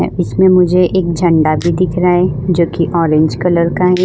इसमें मुझे एक झंडा भी दिख रहा है जो कि ऑरेंज कलर का है।